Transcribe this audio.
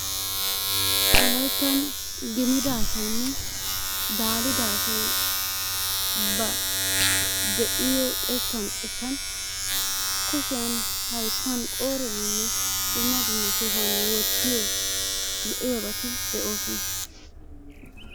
Wolayttan gimida asaynne daalida asay ba de'iyo xekkan xekkan kushiyan, hayttan qooriyaaninne dumma dumma sohuwan wottiyo lo'iyaabati de'oosona.